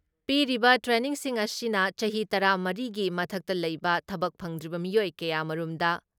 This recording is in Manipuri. ꯄꯤꯔꯤꯕ ꯇ꯭ꯔꯦꯅꯤꯡꯁꯤꯡ ꯑꯁꯤꯅ ꯆꯍꯤ ꯇꯔꯥ ꯃꯔꯤ ꯒꯤ ꯃꯊꯛꯇ ꯂꯩꯕ ꯊꯕꯛ ꯐꯪꯗ꯭ꯔꯤꯕ ꯃꯤꯑꯣꯏ ꯀꯌꯥꯃꯔꯨꯝꯗ